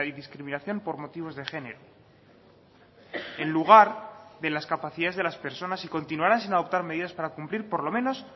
discriminación por motivos de género en lugar de las capacidades de las personas y continuarán sin adoptar medidas para cumplir por lo menos